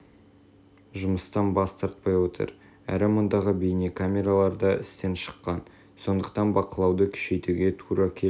жұмыстан бас тартпай отыр әрі мұндағы бейнекамералар да істен шыққан сондықтан бақылауды күшейтуге тура келіп